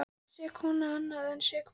Sek kona annað en sek móðir.